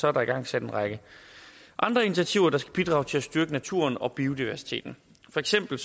er der igangsat en række andre initiativer der skal bidrage til at styrke naturen og biodiversiteten for eksempel